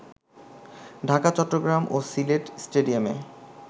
ঢাকা, চট্টগ্রাম ও সিলেট স্টেডিয়ামে